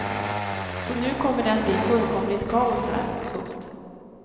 Så nu kommer det att bli fullkomligt kaos här. punkt